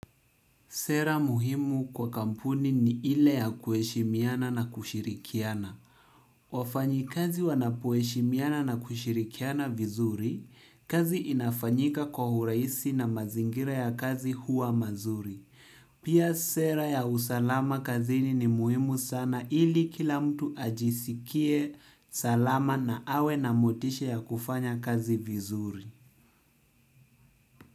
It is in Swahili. Sera muhimu kwa kampuni ni ile ya kuheshimiana na kushirikiana. Wafanyakazi wanapoheshimiana na kushirikiana vizuri, kazi inafanyika kwa uraisi na mazingira ya kazi huwa mazuri. Pia sera ya usalama kazini ni muhimu sana ili kila mtu ajisikie salama na awe na motisha ya kufanya kazi vizuri.